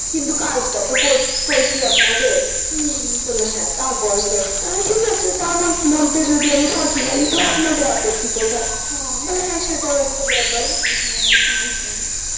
কিন্তু কাজ টা তো করছি আপ্পনাদার হু বললো হ্যা তা করেছো ঠিক আছে তার মধ্যে যদি আমি ফাঁকি মারি তো আপনাদের আপ্পত্তি কোথায় হ্যা সেটাও একটা ব্যাপার হ্যা তাই তো